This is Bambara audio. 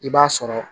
I b'a sɔrɔ